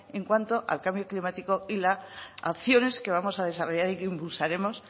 en cuanto al cambio climático y las acciones que vamos a desarrollar y que impulsaremos